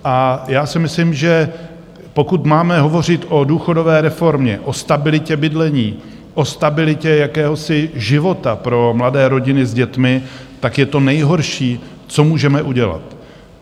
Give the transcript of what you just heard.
A já si myslím, že pokud máme hovořit o důchodové reformě, o stabilitě bydlení, o stabilitě jakéhosi života pro mladé rodiny s dětmi, tak je to nejhorší, co můžeme udělat.